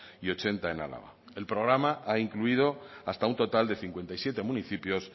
y ochenta en álava el programa ha incluido hasta un total de cincuenta y siete municipios